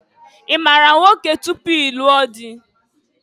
I maara nwoke tupu i lụọ dị?